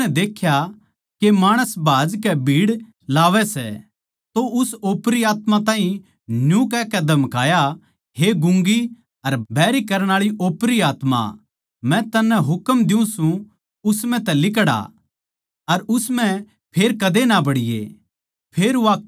जिब यीशु नै देख्या के माणस भाजकै भीड़ लावै सै तो उस ओपरी आत्मा ताहीं न्यू कहकै धमकाया हे गूँगी अर बैहरी करण आळी ओपरी आत्मा मै तन्नै हुकम दियुँ सूं उस म्ह तै लिकड़ आ अर उस म्ह फेर कदे ना बड़ीये